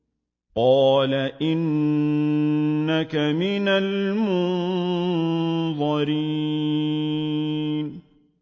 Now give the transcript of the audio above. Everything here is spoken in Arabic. قَالَ إِنَّكَ مِنَ الْمُنظَرِينَ